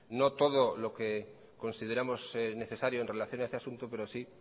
no todo lo que consideramos necesario en relación a este asunto pero sí